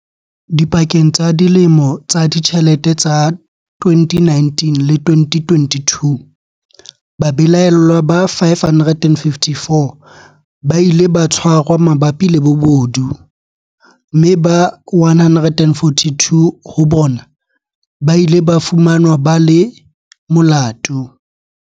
Dipakeng tsa dilemo tsa ditjhelete tsa 2019 le 2022, babelaellwa ba 554 ba ile ba tshwarwa mabapi le bobodu, mme ba 142 ho bona ba ile ba fumanwa ba le molato.